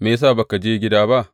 Me ya sa ba ka je gida ba?